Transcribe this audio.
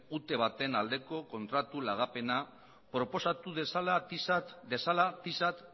ute baten aldeko kontratu lagapena proposatu dezala tisa